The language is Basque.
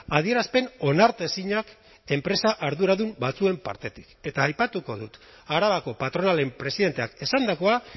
adierazpen onartezinak enpresa arduradun batzuen partetik eta aipatuko dut arabako patronalen presidenteak esandakoa